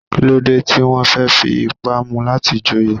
Kí ló dé tí wọ́n fẹ́ fi ipá mu láti joyè?